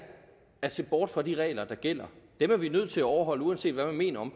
at se bort fra de regler der gælder dem er vi nødt til at overholde uanset hvad man mener om